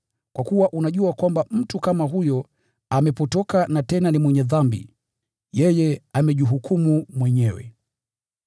Kwa kuwa unajua kwamba mtu kama huyo amepotoka na tena ni mwenye dhambi. Yeye amejihukumu mwenyewe.